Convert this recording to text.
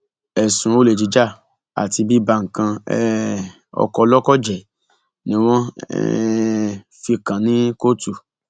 ẹsùn olè jíjà àti bíba nǹkan um ọkọ olóko jẹ ni wọn um fi kàn án ní kóòtù